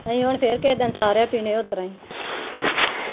ਅਸੀ ਹੁਣ ਫਿਰ ਕਿਸੇ ਦਿਨ ਸਾਰਿਆਂ ਪੀਣੇ ਉਸਤਰਾ ਈ